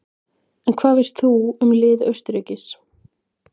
En hvað veist þú um lið Austurríkis?